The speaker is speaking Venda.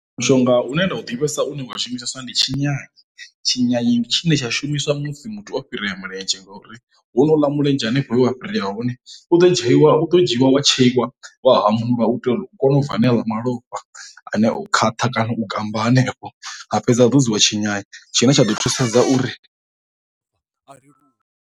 Mushonga une nda u ḓivhesa u wa shumiseswa ndi tshinyanye, tshinyanye ndi tshine tsha shumiswa musi muthu o fhirea miledzhe ngauri honouḽa mulenzhe hanefho vhu a fhirela hone u ḓo dzheiwa u ḓo dzhiiwa wa tsheiwa wa hamulwa u tea u kona u bva a ṋeaḽa malofha ane o khwaṱha kana u gammba hanefho, ha fhedza ha ḓodziwa tshinyanye tshine tsha ḓo thusedza uri .